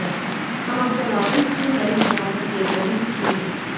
Amma bizə lazımdır ki, mənim yazıq yeznəmin fikrini bilək.